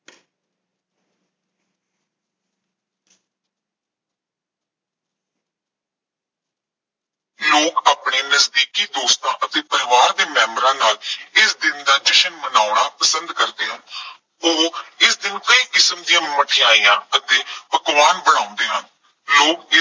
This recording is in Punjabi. ਲੋਕ ਆਪਣੇ ਨਜ਼ਦੀਕੀ ਦੋਸਤਾਂ ਅਤੇ ਪਰਿਵਾਰ ਦੇ ਮੈਬਰਾਂ ਨਾਲ ਇਸ ਦਿਨ ਦਾ ਜਸ਼ਨ ਮਨਾਉਣਾ ਪਸੰਦ ਕਰਦੇ ਹਨ। ਉਹ ਇਸ ਦਿਨ ਕਈ ਕਿਸਮ ਦੀਆਂ ਮਠਿਆਈਆਂ ਅਤੇ ਪਕਵਾਨ ਬਣਾਉਂਦੇ ਹਨ। ਲੋਕ ਇਸ